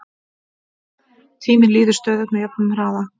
tíminn líður stöðugt með jöfnum hraða